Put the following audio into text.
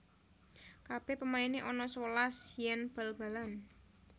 Kabeh pemaine ana sewelas yen bal balan